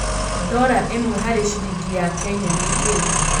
dola ĩmwe harĩ ciringi ya Kenya nĩ kĩĩ